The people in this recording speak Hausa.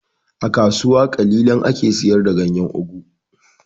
A kasuwa ƙalilan ake siyar da ganyan ogu